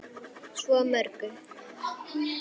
Svo mörgu.